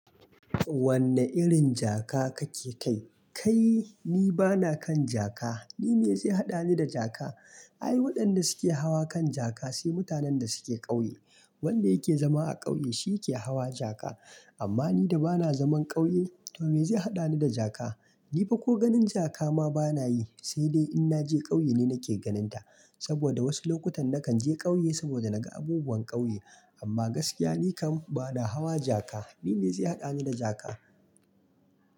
Wanne irin jaka kake kai? Kai, ni bana kan jaka. Ni me zai haɗani da jaka? Ai waɗanda suke hawa kan jaka, sai mutanen da suke ƙauye. Wanda yake zama a ƙauye shi yake hawa jaka. Amma ni da bana zaman ƙauye to me zai haɗani da jaka? Ni fa ko ganin jaka ma bana yi, sai dai in naje ƙauye ne nake ganin ta. Saboda wasu lokutan nakan je ƙauye saboda naga abubuwan ƙauye. Amma gaskiya ni kam bana hawa jaka. Ni me zai haɗani da jaka?